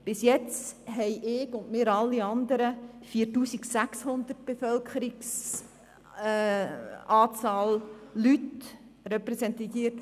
Bisher habe ich und wir übrigen 4600 Leute aus der Bevölkerung repräsentiert.